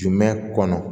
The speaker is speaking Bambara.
Jumɛn kɔnɔ